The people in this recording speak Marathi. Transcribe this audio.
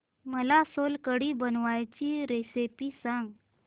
मला सोलकढी बनवायची रेसिपी सांग